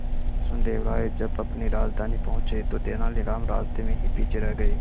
कृष्णदेव राय जब अपनी राजधानी पहुंचे तो तेलानीराम रास्ते में ही पीछे रह गए